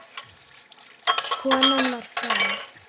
Konan var frá